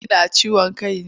Kina ciwon kai ne?